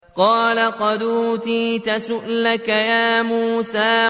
قَالَ قَدْ أُوتِيتَ سُؤْلَكَ يَا مُوسَىٰ